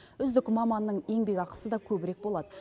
үздік маманның еңбекақысы да көбірек болады